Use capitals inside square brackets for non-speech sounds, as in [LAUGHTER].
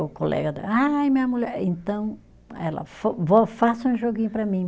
O colega da, ai minha mulher, então ela, [UNINTELLIGIBLE] vó faça um joguinho para mim.